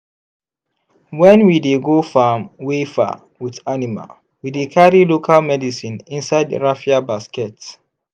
when we dey go farm wey far with animal we dey carry local medicine inside raffia basket.